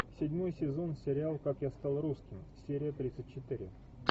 седьмой сезон сериал как я стал русским серия тридцать четыре